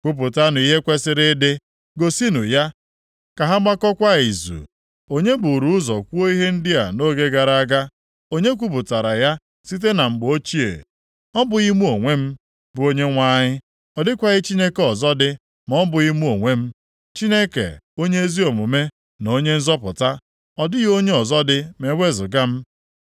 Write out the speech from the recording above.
Kwupụtanụ ihe kwesiri ịdị, gosinụ ya, ka ha gbaakọkwa izu. Onye buru ụzọ kwuo ihe ndị a nʼoge gara aga, onye kwupụtara ya site na mgbe ochie? Ọ bụghị mụ onwe m, bụ Onyenwe anyị? Ọ dịkwaghị Chineke ọzọ dị ma ọ bụghị mụ onwe m, Chineke onye ezi omume na Onye nzọpụta; ọ dịghị onye ọzọ dị ma ewezuga m.